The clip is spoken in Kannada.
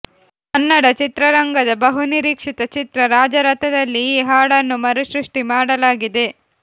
ಕನ್ನಡ ಚಿತ್ರರಂಗದ ಬಹುನಿರೀಕ್ಷಿತ ಚಿತ್ರ ರಾಜರಥದಲ್ಲಿ ಈ ಹಾಡನ್ನು ಮರುಸೃಷ್ಟಿ ಮಾಡಲಾಗಿದೆ